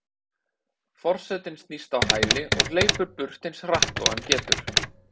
Forsetinn snýst á hæli og hleypur burt eins hratt og hann getur.